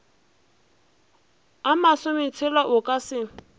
a masometshela o ka se